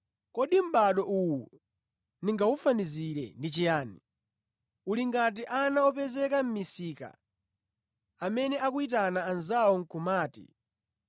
“Kodi mʼbado uwu ndingawufanizire ndi chiyani? Uli ngati ana opezeka mʼmisika amene akuyitana anzawo nʼkumati: